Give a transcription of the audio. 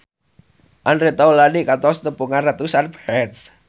Andre Taulany kantos nepungan ratusan fans